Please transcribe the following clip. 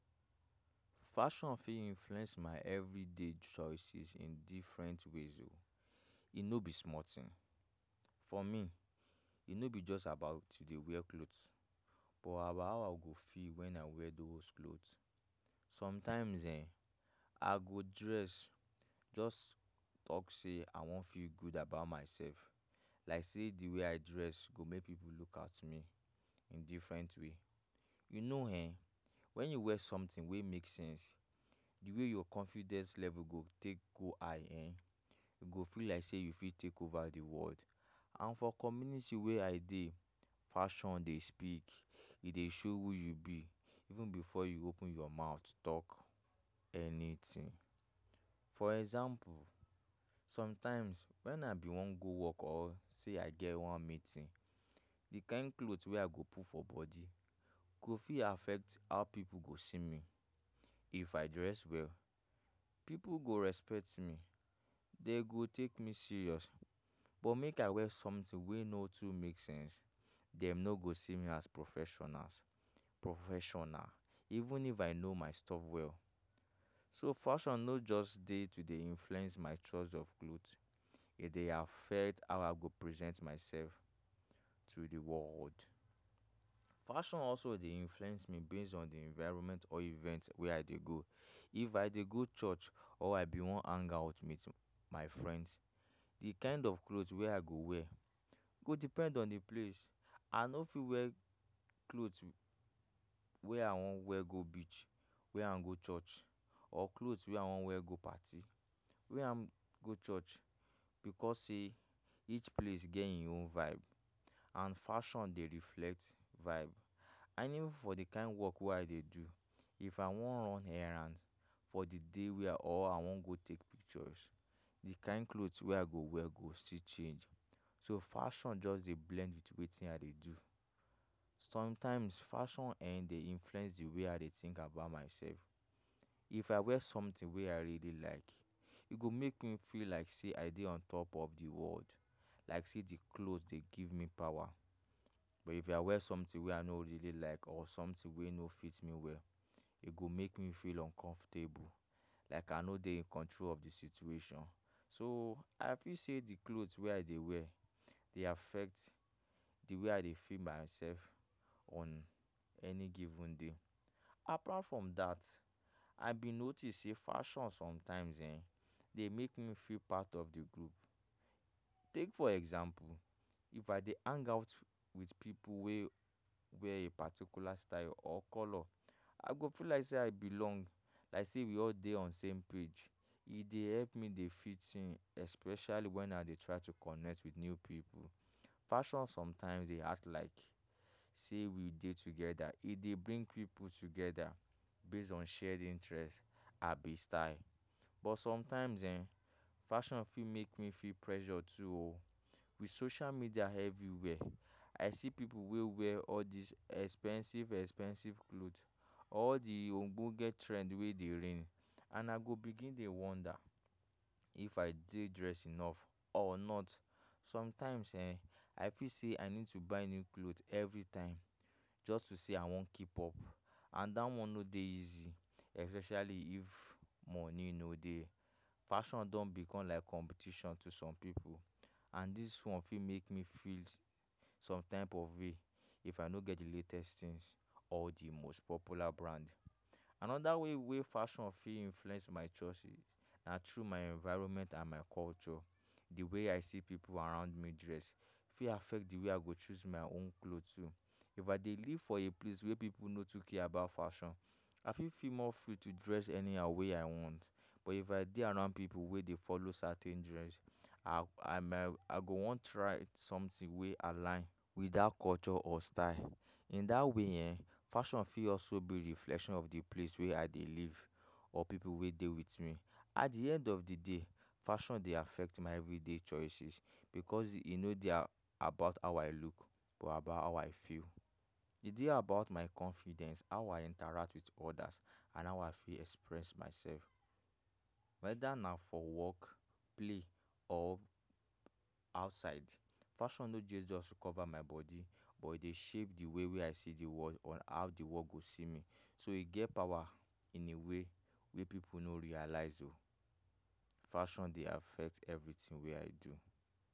Fashion fit influence my evri day choices in diffrent ways o e no be small thing for me e no be just about to dey wear cloth but about how i go feel wen i wear those cloth sometimes um i go dress just talk say i wan feel good about mysef like say di way i dress go make pipu look at me in diffrent way, you know[um]wen you wear sometin wey make sense di way your confidence level go take go high um go feel like say you fit take over di world and for community wey i dey fashion dey speak e dey show who you be even bifor you open your mouth talk anytin. for example somtimes wen i be wan go work or say i get one meeting di kain cloth wey i go put for body go fit affect how pipu go see me if i dress well pipu go respect me dey go take me serious but make i wear sometin wey no too make sense dem no go see me as professionals—professional even if i know my stuff well so fashion no just dey to dey influence my choice of clothes e dey affect how I go present mysef to di world. fashion also de influence me based on di environment or event wey i dey go if i dey go church or i be wan hang out wit my friends di kain of clothes wey i go wear go depend on di place i no fit wear cloth way i wan wear go beach wear am go church or cloth wey i wan wear go party wear am go church because say each place get im own vibe and fashion dey reflect vibe and even for di kain work wey i dey do if i wan run errand for di day wia or i wan go take pictures di kain cloth wey i go wear go still change so fashion just dey blend wit wetin i dey do somtimes fashion um dey influence di way i dey think about mysef if i wear sometin wey i really like e go make me feel like say i dey on top of di world like say di cloth dey give me power but if I wear somtin wey I no really like or sometin wey no fit me well e go make me feel uncomfortable like i no dey in control of di situation so i feel say di cloth wey i dey wear dey affect di way i dey feel mysef on any given day. apart from that i been notice say fashion somtimes um, de make me feel part of di group take for example, if i dey hangout wit pipu wey wear a particular style or color i go feel like say i belong like say we all dey on same page e dey help me dey fit in especially wen i dey try to connect wit new pipu fashion somtimes dey act like say we dey together e dey bring pipu together based on shared di interest abi style but somtimes um fashion fit make me fit pressure too o wit social media evri wia i see pipu wey wear all these expensive expensive cloth all di ogbonge trend wey dey ring and i go begin dey wonder if i dey dress enough or not somtimes[um]i feel say i need to buy new cloth every time just to say i wan keep up and dat one no dey easy especially if money no dey fashion don bicom like competition to some pipu and dis one fit make me feel some type of way if i no get di latest tins all di most popular brand anoda way wey fashion fit influence my choice is na true my environment and my culture di way i see pipu around me dress fit affect di way i go choose my own clothes too if i dey live for a place wey pipu no too care about fashion i fit feel more free to dress anyhow wey i want but if i dey around pipu wey dey follow certain dress i go wan try sometin wey align wit that culture or style in that way[um]fashion fit also be reflection of di place wey i dey live or pipu wey dey wit me at di end of di day fashion dey affect my evri day choices because e no dey about how I look but about how I feel. e dey about my confidence how I interact wit others and how I fit express mysef weda na for work, play or outside fashion no just cover my body but e dey shape di way wey i see di world or how di world go see me so e get power in a way wey pipu no realize o. fashion dey affect evri tin wey i do.